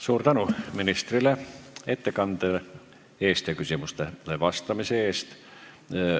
Suur tänu ministritele ettekande eest ja küsimustele vastamise eest!